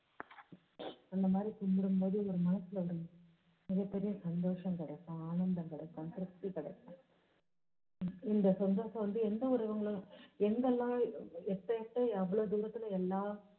அந்த மாதிரி கும்பிடும் போது ஒரு மனசுல வந்து மிகப் பெரிய சந்தோஷம் கிடைக்கும். ஆனந்தம் கிடைக்கும், திருப்தி கிடைக்கும். இந்த சந்தோஷம் வந்து எந்த ஒரு இவங்களும் எங்க எல்லாம் எப்போ எப்போ எவ்ளோ தூரத்துல எல்லாம்